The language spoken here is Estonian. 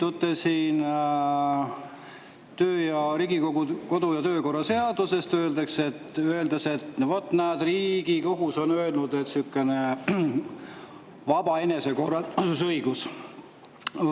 Ja oma tegevuses te juhindute Riigikogu kodu- ja töökorra seadusest, öeldes, et vot näed, ka Riigikohus on öelnud, et on selline vaba enesekorraldusõigus.